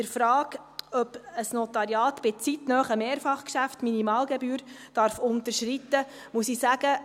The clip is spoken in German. Zur Frage, ob ein Notariat bei zeitnahen Mehrfachgeschäften die Minimalgebühr unterschreiten darf, muss ich sagen: